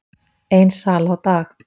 Ein sala á dag